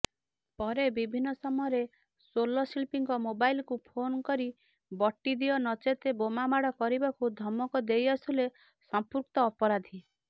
ପରେ ବିଭିନ୍ନ ସମୟରେ ସୋଲଶିଳ୍ପୀଙ୍କ ମୋବାଇଲକୁ ଫୋନକରି ବଟିଦିଅ ନଚେତ ବୋମାମାଡ କରିବାକୁ ଧମକ ଦେଇଆସୁଥିଲେ ସଂମ୍ପୃକ୍ତ ଅପରାଧି